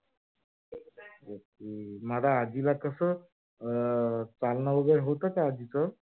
म आता आजीला कस अं चालन वैगेरे होत का आजीच.